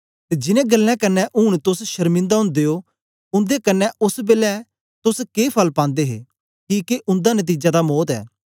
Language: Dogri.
तां जिनैं गल्लें कन्ने ऊन तोस शरमिंदा ओदे ओ उन्दे कन्ने ओस बेलै तोस के फल पांदे हे किके उन्दा नतीजा तां मौत ऐ